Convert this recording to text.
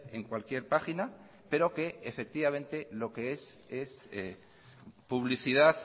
en cualquier página pero que efectivamente es publicidad